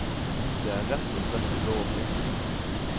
Det er rett og slett ulovlig.